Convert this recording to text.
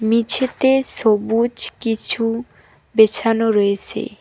মেঝেতে সবুজ কিছু বিছানো রয়েছে।